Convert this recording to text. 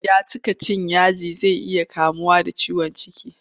Ya cika cin yaji zai iya kamuwa da ciwon ciki.